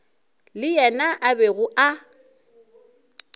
le yena a bego a